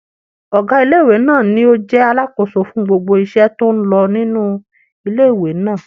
Ọgá ilé-ìwé náà ní o jẹ́ alákóso fún gbogbo iṣẹ́ tó n lọ nínu ilé-ìwé náà